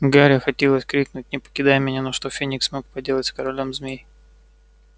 гарри хотелось крикнуть не покидай меня но что феникс мог поделать с королём змей